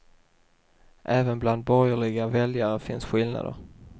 Även bland borgerliga väljare finns skillnader.